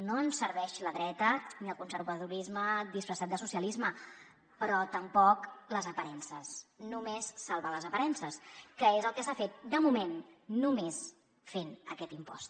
no ens serveix la dreta ni el conservadorisme disfressat de socialisme però tampoc les aparences només salvar les aparences que és el que s’ha fet de moment només fent aquest impost